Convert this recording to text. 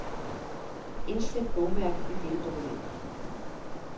Indsæt bogmærke i dette dokument.